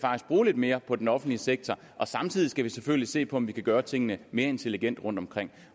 bruge lidt mere på den offentlige sektor samtidig skal vi selvfølgelig se på om vi kan gøre tingene mere intelligent rundtomkring